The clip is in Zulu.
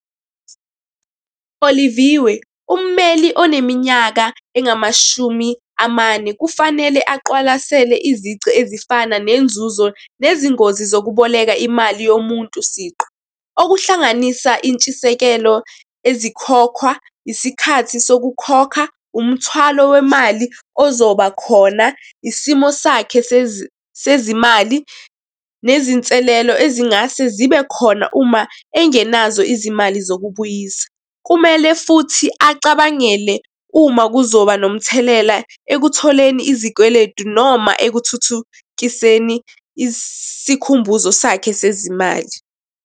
Oliviwe, ummeli oneminyaka engamashumi amane kufanele aqwalasele izici ezifana nenzuzo, nezingozi zokuboleka imali yomuntu siqu. Okuhlanganisa intshisekelo ezikhokhwa, isikhathi sokukhokha, umthwalo wemali ozoba khona, isimo sakhe sezimali, nezinselelo ezingase zibe khona uma engenazo izimali zokubuyisa. Kumele futhi acabangele uma kuzoba nomthelela ekutholeni izikweletu noma ekuthuthukiseni isikhumbuzo sakhe sezimali.